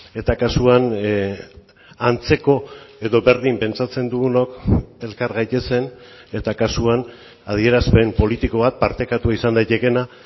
eta kasuan antzeko edo berdin pentsatzen dugunok elkar gaitezen eta kasuan adierazpen politiko bat partekatua izan daitekeena